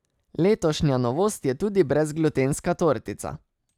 Letošnja novost je tudi brezglutenska tortica.